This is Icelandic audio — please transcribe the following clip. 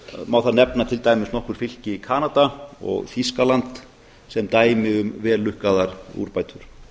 má þar nefna til dæmis nokkur fylki í kanada og þýskaland sem dæmi um vellukkaðar úrbætur